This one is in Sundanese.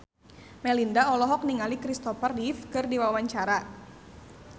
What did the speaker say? Melinda olohok ningali Kristopher Reeve keur diwawancara